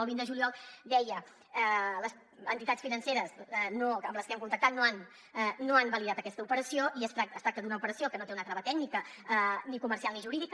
el vint de juliol deia les entitats financeres amb les que hem contactat no han validat aquesta operació i es tracta d’una operació que no té una trava tècnica ni comercial ni jurídica